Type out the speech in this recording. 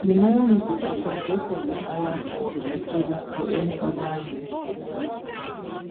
dem hire me to preform just like dem hire me for afrochella or any oda event event